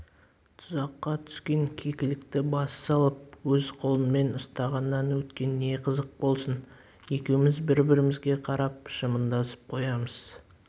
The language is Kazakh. тұзаққа түскен кекілікті бас салып өз қолыңмен ұстағаннан өткен не қызық болсын екеуміз бір-бірімізге қарап жымыңдасып қоямыз